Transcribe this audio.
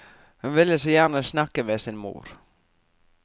Hun ville så gjerne snakke med sin mor.